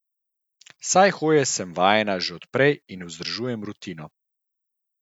Saj hoje sem vajena že od prej in vzdržujem rutino.